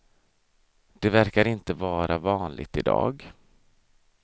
Det verkar inte vara vanligt i dag.